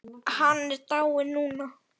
Hann er dáinn núna.